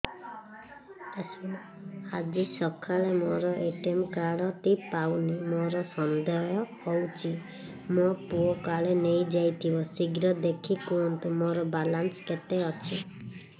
ଆଜି ସକାଳେ ମୋର ଏ.ଟି.ଏମ୍ କାର୍ଡ ଟି ପାଉନି ମୋର ସନ୍ଦେହ ହଉଚି ମୋ ପୁଅ କାଳେ ନେଇଯାଇଥିବ ଶୀଘ୍ର ଦେଖି କୁହନ୍ତୁ ମୋର ବାଲାନ୍ସ କେତେ ଅଛି